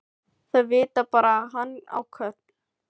Þau vita bara að hann á Kol.